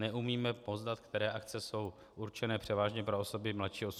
Neumíme poznat, které akce jsou určené převážně pro osoby mladší 18 let.